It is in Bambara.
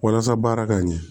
Walasa baara ka ɲɛ